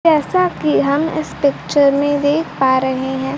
जैसा कि हम इस पिक्चर में देख पा रहे हैं।